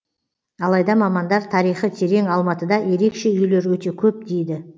алайда мамандар тарихы терең алматыда ерекше үйлер өте көп дейді